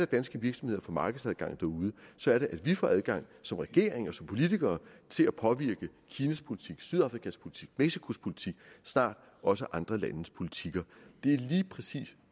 danske virksomheder får markedsadgang derude så er det at vi får adgang som regering og som politikere til at påvirke kinas politik sydafrikas politik mexicos politik og snart også andre landes politikker